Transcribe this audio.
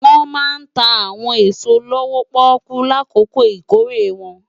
Wòn má ntá áwòn esó lówó-pòkú lákókó ikóré wòn